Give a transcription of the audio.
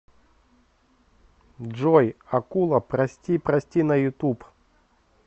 джой акула прости прости на ютуб